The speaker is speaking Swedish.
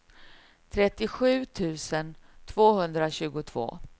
trettiosju tusen tvåhundratjugotvå